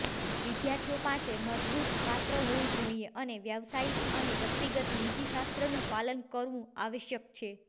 વિદ્યાર્થીઓ પાસે મજબૂત પાત્ર હોવું જોઈએ અને વ્યાવસાયિક અને વ્યક્તિગત નીતિશાસ્ત્રનું પાલન કરવું આવશ્યક છે